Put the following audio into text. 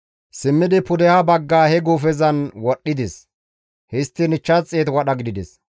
Simmidi pudeha bagga he guufezan wadhdhides; histtiin 500 wadha gidides.